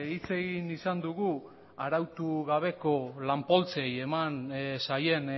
hitz egin izan dugu arautu gabeko lan poltsei eman zaien